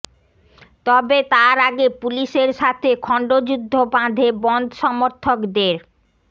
তবে তার আগে পুলিশের সাথে খণ্ডযুদ্ধ বাঁধে বনধ সমর্থকদের